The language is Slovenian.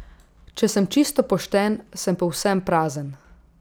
Če sem čisto pošten, sem povsem prazen.